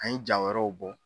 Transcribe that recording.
An ye jaa wɛrɛw bɔ.